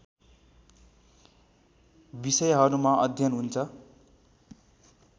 विषयहरूमा अध्ययन हुन्छ